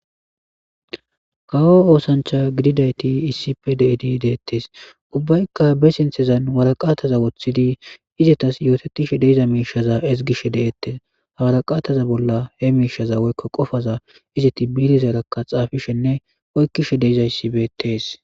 Kawo oosancha gididayti issipe deedi deettes ubbaykka be sinthezan waraqaataza woththidi izetas yootetishe deiza miishaza ezigishe deettes hawaraqaataza bolla he miishaza woykko qofaza izeti bilizerakka xaafishenne oykkishe deiza issibetees.